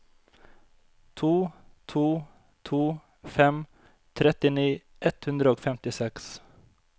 to to to fem trettini ett hundre og femtiseks